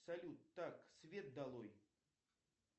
салют так свет долой